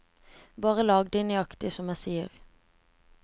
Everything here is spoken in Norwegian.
Bare lag dem nøyaktig som jeg sier.